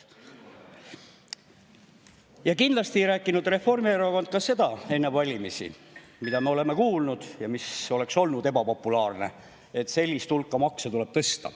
Ja kindlasti ei rääkinud Reformierakond ka seda enne valimisi, mida me oleme kuulnud ja mis oleks olnud ebapopulaarne, et sellist hulka makse tuleb tõsta.